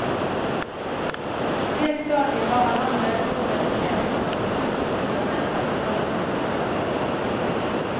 På det stadiet var han allerede så redusert at man knapt kunne føre en samtale med ham.